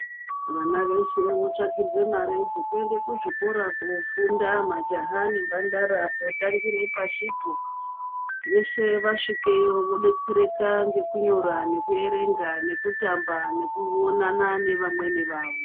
Vana veshe votsvakirwa mare dzekuende kuzvikora majaha nemhandara kotangire pashipo. Veshe vasvikeyo vodetsereka nekunyora nekuerenga nekutamba nekuonana nevamweni vavo.